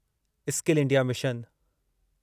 skill India mission